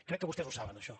crec que vostès ho saben això